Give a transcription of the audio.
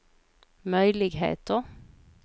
möjligheter